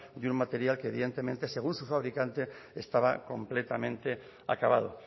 de un material que evidentemente según su fabricante estaba completamente acabado